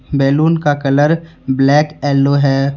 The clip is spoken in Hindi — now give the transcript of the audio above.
बैलून का कलर ब्लैक एलो है।